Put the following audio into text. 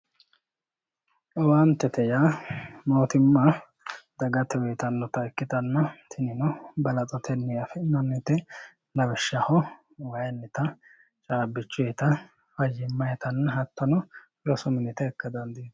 Owaantete yaa mootimma dagate uyiitannota ikkitanna tinino balaxotenni afi'nannite lawishshaho wayiinnita caabbichuyiita fayyimayiita hattono